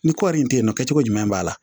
Ni kɔri in te yen nɔ kɛcogo ɲuman b'a la